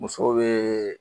Musow be